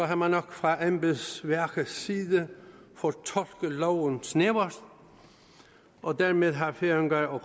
har man nok fra embedsværkets side fortolket loven snævert og dermed har færinger og